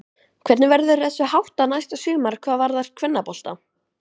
Hvernig verður þessu háttað næsta sumar hvað varðar kvennabolta?